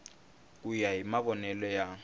ku ya hi mavonele ya